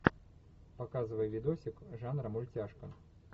показывай видосик жанра мультяшка